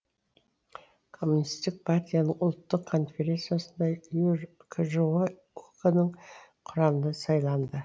коммунистік партияның ұлттық конференциясында кжо ок нің құрамына сайланды